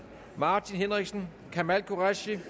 martin henriksen kamal qureshi